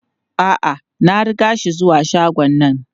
A'a, na riga shi zuwa shagon nan.